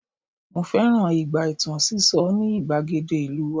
mo fẹràn ìgbà itan siso ni igbagede ìlú wa